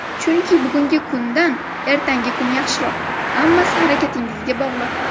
Chunki bugungi kundan ertangi kun yaxshiroq, hammasi harakatingizga bog‘liq.